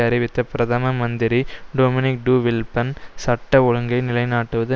அறிவித்த பிரதம மந்திரி டொமினிக் டு வில்ப்பன் சட்ட ஒழுங்கை நிலைநாட்டுவது